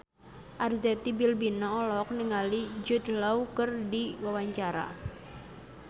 Arzetti Bilbina olohok ningali Jude Law keur diwawancara